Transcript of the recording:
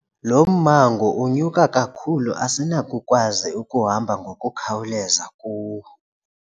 Lo mmango unyuka kakhulu asinakukwazi ukuhamba ngokukhawuleza kuwo.